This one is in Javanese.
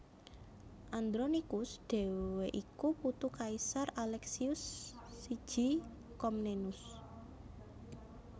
Andronikus dhéwé iku putu Kaisar Aleksius I Komnenus